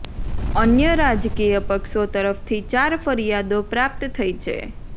અન્ય રાજકીય પક્ષો તરફથી ચાર ફરિયાદો પ્રાપ્ત થઈ છે